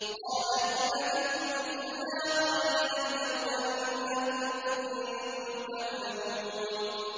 قَالَ إِن لَّبِثْتُمْ إِلَّا قَلِيلًا ۖ لَّوْ أَنَّكُمْ كُنتُمْ تَعْلَمُونَ